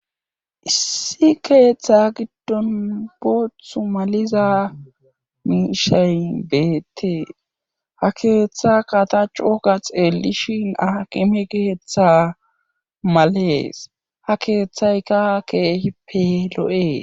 issi keeththa giddon booththu maliza miishayn beettie ha keeththa kata coka xeellishin akime keeththa malees ha keeththayka keehippe lo7ees